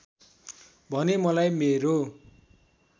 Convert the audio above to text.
भने मलाई मेरो